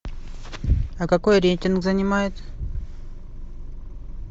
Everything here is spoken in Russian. а какой рейтинг занимает